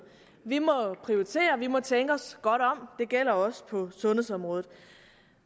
vi må prioritere vi må tænke os godt om det gælder også på sundhedsområdet